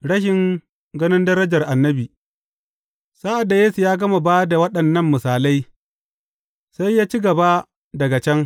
Rashin ganin darajar annabi Sa’ad da Yesu ya gama ba da waɗannan misalai, sai ya ci gaba daga can.